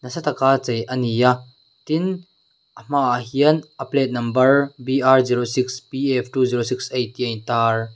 sa taka chei ani a tin a hmaah hian a plate number b r zero six p f two zero six eight tih a in tar.